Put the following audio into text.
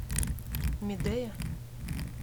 медея